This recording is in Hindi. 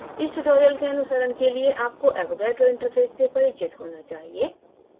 इस tutorial के अनुसरण के लिए आपको avogadro interface से परिचित होना चाहिए